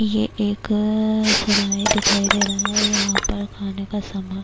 یہ ایک سراہے دکھایی دے رہا ہے، یھاں پر خانے کا سامان -